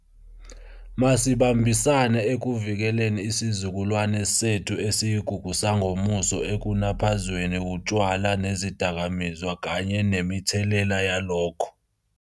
Masibambisane ekuvikeleni isizukulwane sethu esiyigugu sangomuso ekunaphazweni wutshwala nezidakamizwa kanye nemithelela yalokho.